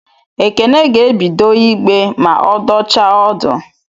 Ekene ga-ebido ịgbe ma ọ dọchaa ọdụ